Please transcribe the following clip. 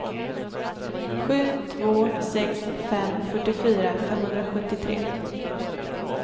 sju två sex fem fyrtiofyra femhundrasjuttiotre